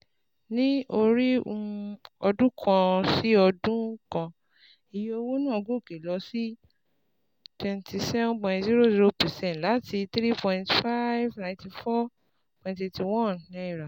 Ní orí um ọdún kan sí ọdún kan, iye owó náà gòkè lọ sí twenty seven point zero zero percent láti N three thousand five hundred ninety four point eight one